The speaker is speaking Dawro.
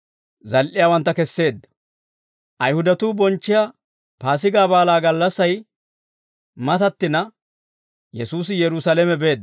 Ayihudatuu bonchchiyaa Paasigaa Baalaa gallassay matattina, Yesuusi Yerusaalame beedda.